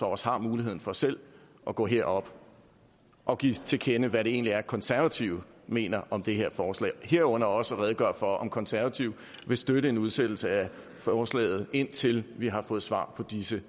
også har muligheden for selv at gå herop og give til kende hvad det egentlig er konservative mener om det her forslag herunder også at redegøre for om konservative vil støtte en udsættelse af forslaget indtil vi har fået svar på disse